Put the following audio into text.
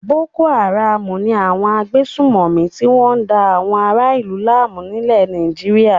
Boko-Haram ni àwọn agbésùnmòmí tí wọ́n da àwọn ará-ìlú láàmú nílẹ̀ Nàìjíríà.